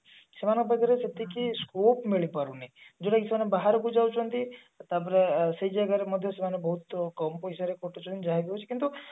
ସେମାନଙ୍କ ପାଖରେ ସେତିକି scope ମିଳିପାରୁନି ଯୋଉଟା କି ସେମାନେ ବାହାରକୁ ଯାଉଛନ୍ତି ତାପରେ ସେଇ ଜାଗାରେ ସେମାନେ ମଧ୍ୟ ବହୁତ କମ ପଇସା ରେ ଖଟୁଛନ୍ତି ଯାହା ବି ହଉଛି କିନ୍ତୁ